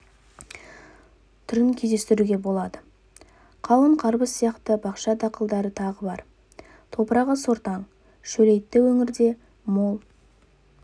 түрін кездестіруге болады қауын қарбыз сияқты бақша дақылдары тағы бар топырағы сортаң шөлейтті өңірде мол